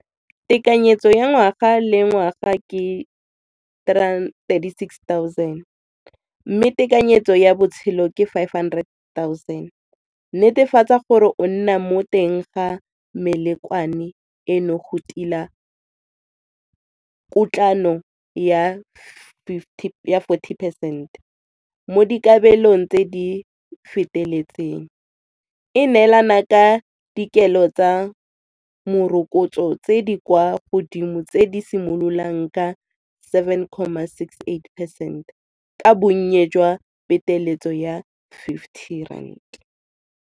Tekanyetso ya ngwaga le ngwaga ke thirty-six thousand mme tekanyetso ya botshelo ke five hundred thousand. Netefatsa gore o nna mo teng ga eno go tila ya forty percent. Mo dikabelong tse di feteletseng, e neelana ka dikelo tsa morokotso tse di kwa godimo tse di simololang ka seven comma six, eight percent ka bonnye jwa peteletso ya fifty rand.